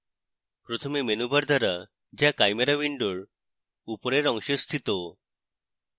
প্রথমে menu bar দ্বারা যা chimera window উপরের অংশে স্থিত